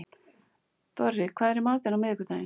Dorri, hvað er í matinn á miðvikudaginn?